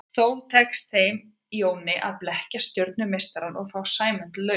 Þó tekst þeim Jóni að blekkja stjörnumeistarann og fá Sæmund lausan.